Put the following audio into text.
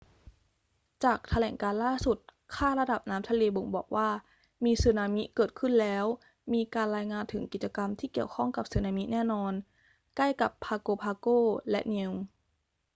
จากแถลงการณ์ล่าสุด ค่าระดับน้ำทะเลบ่งบอกว่ามีสึนามิเกิดขึ้นแล้ว มีการรายงานถึงกิจกรรมที่เกี่ยวข้องกับสึนามิแน่นอนใกล้กับ pago pago และ niue